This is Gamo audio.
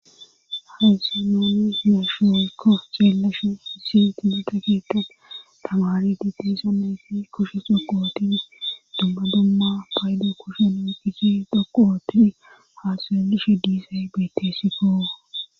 haysan nun be7ishe woykko ceelashu hisiyt mita keeqqan tamaari ditisoneyfi kushe dhoqu otini dumma dumma paydo kushe omikichi dhoqu ootin haa xeelishe diizay bettessiko